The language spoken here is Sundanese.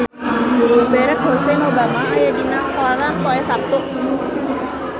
Barack Hussein Obama aya dina koran poe Saptu